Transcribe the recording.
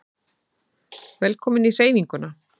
Velkomin í Hreyfinguna